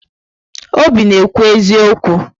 Obi na-ekwu eziokwu.